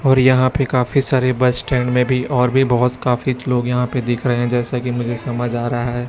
और यहाँ पे काफी सारे बस स्टैंड में भी और भीं बहोत काफी लोग यहाँ पे दिख रहे है जैसे कि मुझे समझ आ रहा है।